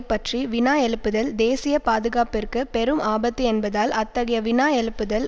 பற்றி வினா எழுப்புதல் தேசிய பாதுகாப்பிற்கு பெரும் ஆபத்து என்பதால் அத்தகைய வினா எழுப்புதல்